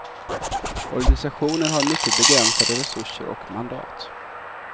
Organisationen har mycket begränsade resurser och mandat.